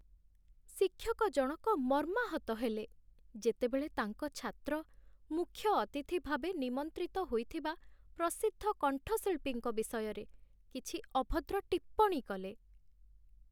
ଶିକ୍ଷକ ଜଣକ ମର୍ମାହତ ହେଲେ, ଯେତେବେଳେ ତାଙ୍କ ଛାତ୍ର ମୁଖ୍ୟ ଅତିଥି ଭାବେ ନିମନ୍ତ୍ରିତ ହୋଇଥିବା ପ୍ରସିଦ୍ଧ କଣ୍ଠଶିଳ୍ପୀଙ୍କ ବିଷୟରେ କିଛି ଅଭଦ୍ର ଟିପ୍ପଣୀ କଲେ।